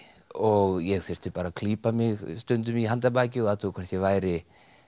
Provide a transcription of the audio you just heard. og ég þurfti bara að klípa mig stundum í handarbakið og athuga hvort ég væri